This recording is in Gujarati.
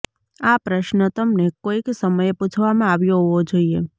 આ પ્રશ્ન તમને કોઈક સમયે પૂછવામાં આવ્યો હોવો જોઈએ